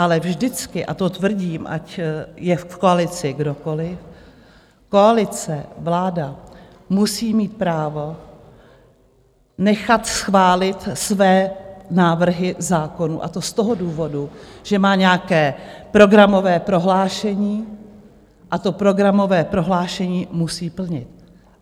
Ale vždycky, a to tvrdím, ať je v koalici kdokoliv, koalice, vláda musí mít právo nechat schválit své návrhy zákonů, a to z toho důvodu, že má nějaké programové prohlášení a to programové prohlášení musí plnit.